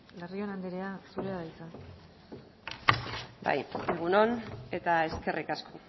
larrion anderea zurea da hitza egun on eta eskerrik asko